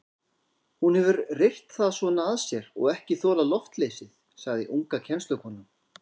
Hún hefur reyrt það svona að sér og ekki þolað loftleysið, sagði unga kennslukonan.